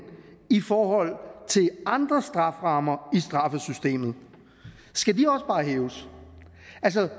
i forhold til andre strafferammer i straffesystemet skal de også bare hæves